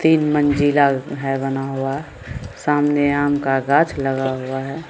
तीन मंजिला हेय बना हुआ सामने आम का गाछ लगा हुआ है।